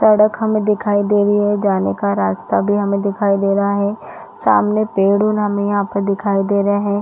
सड़क हमें दिखाई दे रही है जाने का रास्ता भी हमें दिखाई दे रहा है सामने पेड़- उड़ हमें यहाँ पर दिखाई दे रहे है।